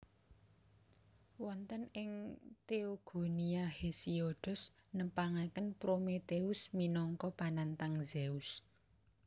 Wonten ing Theogonia Hesiodos nepangaken Prometheus minangka panantang Zeus